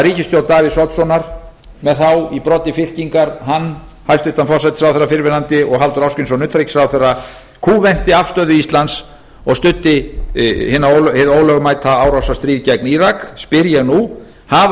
ríkisstjórn davíðs oddssonar með þá í broddi fylkingar hann hæstvirtur forsætisráðherrann fyrrverandi og halldór ásgrímsson utanríkisráðherra kúventi afstöðu íslands og studdi hið ólögmæta árásarstríð gegn írak spyr ég nú hafa